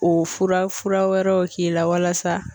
O fura fura wɛrɛw k'i la walasa